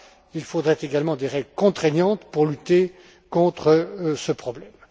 Il faudrait également des règles contraignantes pour lutter contre ce problème.